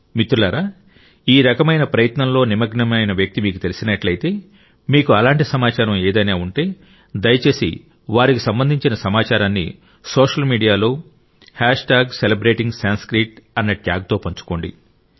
మిత్రులారా ఈ రకమైన ప్రయత్నంలో నిమగ్నమైన వ్యక్తి మీకు తెలిసినట్లయితే మీకు అలాంటి సమాచారం ఏదైనా ఉంటే దయచేసి వారికి సంబంధించిన సమాచారాన్ని సోషల్ మీడియాలో సెలిబ్రేటింగ్సంస్కృత్ అన్న ట్యాగ్ తో పంచుకోండి